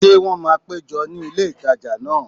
Ṣé wọ́n máa péjọ ní ilé ìtajà náà?